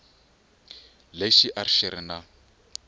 lexi a xi ri na